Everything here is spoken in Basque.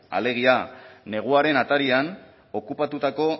alegia neguaren atarian okupatutako